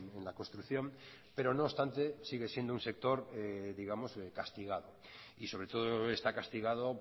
en la construcción pero no obstante sigue siendo un sector digamos castigado y sobre todo está castigado